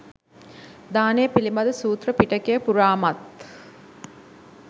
දානය පිළිබඳ සූත්‍ර පිටකය පුරාමත්